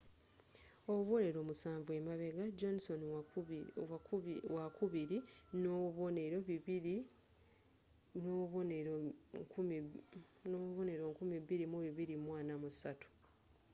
obubonero musanvu emabega johnson wakubiri nobubonero 2,243